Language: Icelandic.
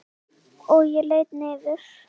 Og ég lýt niður.